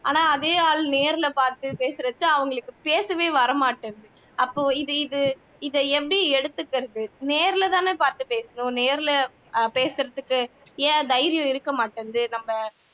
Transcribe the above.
ஆனா அதே ஆள் நேர்ல பாத்து பேசறப்ப அவங்களுக்கு பேசவே வரமாட்டேங்குது அப்போ இது இது இதை எப்படி எடுத்துகிறது நேர்லதானே பாத்து பேசுறோம் நேர்ல பேசறதுக்கு ஏன் தைரியம் இருக்க மாட்டேங்குது நம்ம